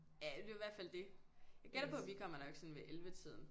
Ja ja det er jo i hvert fald det jeg gætter på at vi kommer nok sådan ved ellevetiden